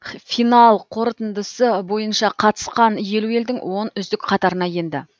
финал қорытындысы бойыншақа тысқан елу елдің он үздік қатарына енді